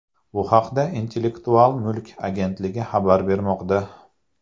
Bu haqda Intellektual mulk agentligi xabar bermoqda .